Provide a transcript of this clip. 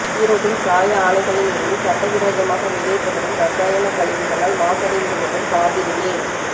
ஈரோட்டில் சாய ஆலைகளில் இருந்து சட்டவிரோதமாக வெளியேற்றப்படும் ரசாயன கழிவுகளால் மாசடைந்துவரும் காவிரி நீர்